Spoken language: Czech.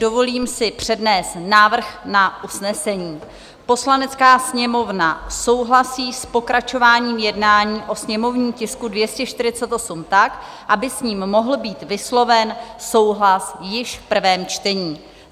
Dovolím si přednést návrh na usnesení: "Poslanecká sněmovna souhlasí s pokračováním jednání o sněmovním tisku 248 tak, aby s ním mohl být vysloven souhlas již v prvém čtení."